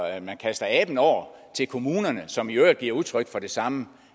at man kaster aben over til kommunerne som i øvrigt giver udtryk for det samme